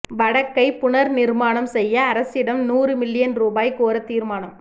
வடக்கை புனர்நிர்மாணம் செய்ய அரசிடம் நூறு மில்லியன் ரூபாய் கோர தீர்மானம்